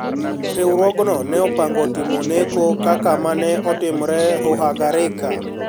Riwruogno ne opango timo neko kaka ma ne otimre Ruhagarika,